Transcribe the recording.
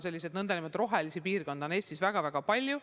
Selliseid "rohelisi piirkondi" on Eestis väga-väga palju.